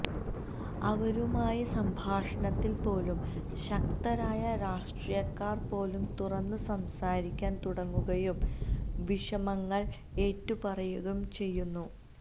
അവരുമായി സംഭാഷണത്തിൽ പോലും ശക്തരായ രാഷ്ട്രീയക്കാർ പോലും തുറന്ന് സംസാരിക്കാൻ തുടങ്ങുകയും വിഷമങ്ങൾ ഏറ്റുപറയുകയും ചെയ്യുന്നു